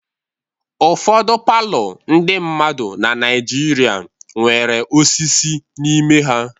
Ụfọdụ palọ ndị mmadụ na Naijiria nwere osisi n'ime ha.